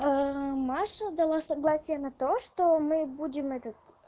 маша дала согласие на то что мы будем этот